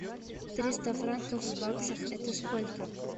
триста франков в баксах это сколько